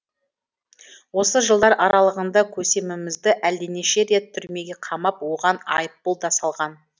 осы жылдар аралығында көсемімізді әлденеше рет түрмеге қамап оған айыппұл да салған